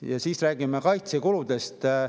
Ja siis räägime kaitsekuludest.